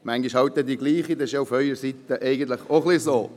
Manchmal ist es dieselbe, aber dies ist auf Ihrer Seite auch nicht anders.